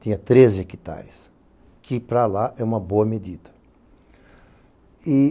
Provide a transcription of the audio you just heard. Tinha treze hectares, que para lá é uma boa medida.